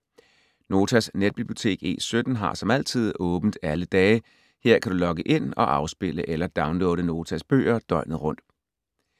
Notas netbibliotek E17 har som altid åbent alle dage. Her kan du logge ind og afspille eller downloade Notas bøger døgnet rundt.